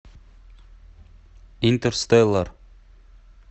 интерстеллар